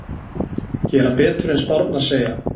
Gera betur en spárnar segja